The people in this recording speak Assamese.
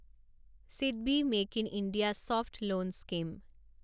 SIDBI make in India soft loan scheme